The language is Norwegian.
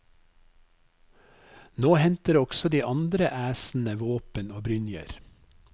Nå henter også de andre æsene våpen og brynjer.